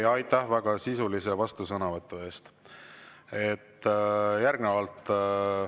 Ja aitäh väga sisulise vastusõnavõtu eest!